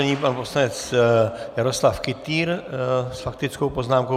Nyní pan poslanec Jaroslav Kytýr s faktickou poznámkou.